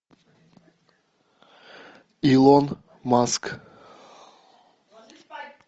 илон маск